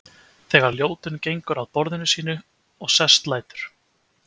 Þegar Ljótunn gengur að borðinu sínu og sest lætur